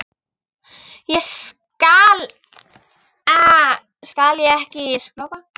Þá skal ég ekki skrópa.